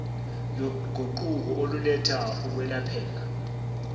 loguquko oluletha ukwelapheka